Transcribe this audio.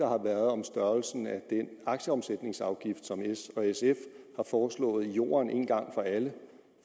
har været om størrelsen af den aktieomsætningsafgift som s og sf har foreslået i jorden en gang for alle